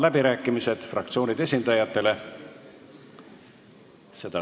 Avan fraktsioonide esindajate läbirääkimised.